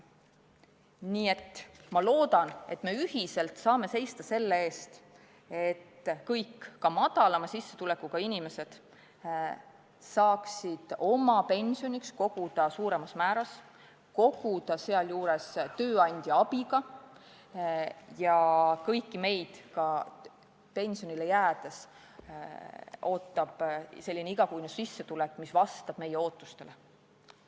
Nii et ma loodan, et me ühiselt saame seista selle eest, et kõik, ka madalama sissetulekuga inimesed, saaksid oma pensioniks koguda suuremas määras raha, koguda tööandja abiga, ja kõiki meid ootab pensionile jäädes selline igakuine sissetulek, mis vastab meie ootustele.